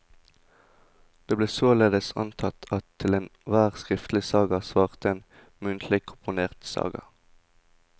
Det ble således antatt at til enhver skriftlig saga svarte en muntlig komponert saga.